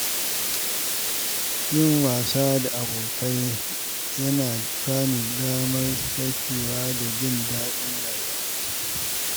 Yin wasa tare da abokai yana ba ni damar sakewa da jin daɗin rayuwa.